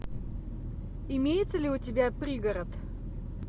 имеется ли у тебя пригород